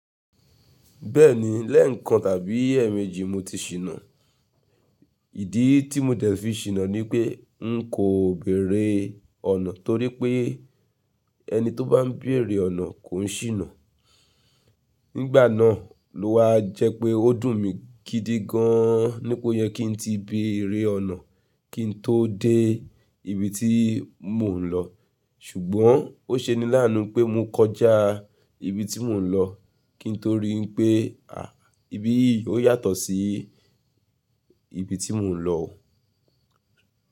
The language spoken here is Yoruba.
Bẹ́ẹ̀ni, lẹ́ẹ̀kan tàbí èèmejì mo ti ṣìnà. Ìdí tí mo dẹ̀ fi ṣìnà ni pé n kò béèrè ọ̀nà torí pé ẹni tó bá ń béèrè ọ̀nà kò ń ṣìnà. Nígbà náà ló wá jẹ́ pé ó dùn mí gidi gan-an ní pé ó yẹ kí n ti béèrè ọ̀nà kí n tó dé ibi tí mò ń lọ. Ṣùgbọ́n ó ṣe ni láàánú pé mo kọjá ibi tí mò ń lọ, kí n tó rí i pé à íbi yìí ó yàtọ̀ sí ibi tí mò ń lọ.